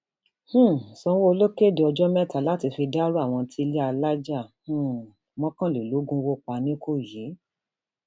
um sanwóoru kéde ọjọ mẹta láti fi dárò àwọn tí ilé alájà um mọkànlélógún wó pa nìkòyí